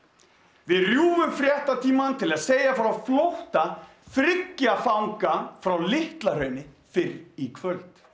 við rjúfum fréttatímann til að segja frá flótta þriggja fanga frá Litla Hrauni fyrr í kvöld